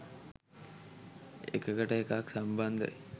එකකට එකක් සම්බන්ධයි.